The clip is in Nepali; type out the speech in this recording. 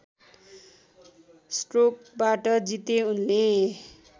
स्ट्रोकबाट जिते उनले